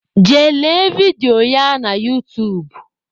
Jee lee vidio ya n'utuub